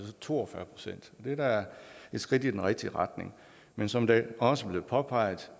to og fyrre procent det er da et skridt i den rigtige retning men som der også blev påpeget